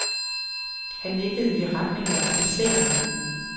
Han nikkede i retning af officererne.